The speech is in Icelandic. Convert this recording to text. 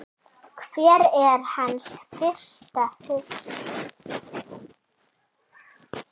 Hver er hans fyrsta hugsun?